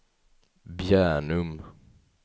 Bjärnum